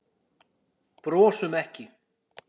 Brosum ekki.